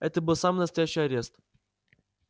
это был самый настоящий арест